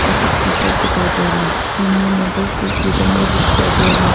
Black keyboard दिखाई दे रहा है सामने में दो फूल के गमले भी दिखाई दे रहा है।